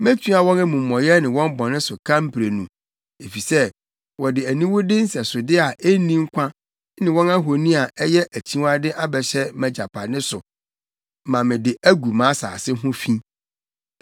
Metua wɔn amumɔyɛ ne wɔn bɔne so ka mprenu, efisɛ wɔde aniwude nsɛsode a enni nkwa ne wɔn ahoni a ɛyɛ akyiwade abɛhyɛ mʼagyapade so ma de agu mʼasase ho fi.”